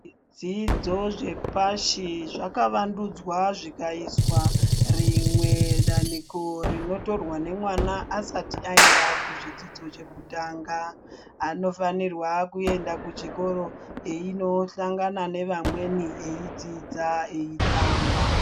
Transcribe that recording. Zvidzidzo zvepashi zvakavandudzwa zvikaiswa rimwe danhiko rinotorwa nemwana asati aenda kuzvidzidzo chekutanga anofanirwa kuenda kuchikoro eino hlangana nevamweni edzidza eitamba.